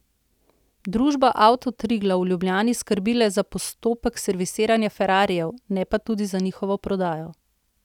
Družba Avto Triglav v Ljubljani skrbi le za postopek servisiranja ferrarijev, ne pa tudi za njihovo prodajo.